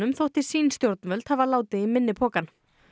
þótti sín stjórnvöld hafa látið í minni pokann